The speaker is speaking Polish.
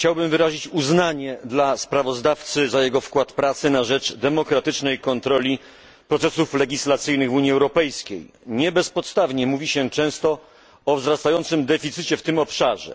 Chciałbym wyrazić uznanie dla sprawozdawcy za jego wkład pracy na rzecz demokratycznej kontroli procesów legislacyjnych w Unii Europejskiej. Nie bezpodstawnie mówi się często o wzrastającym deficycie w tym obszarze.